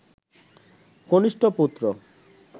কনিষ্ঠ পুত্র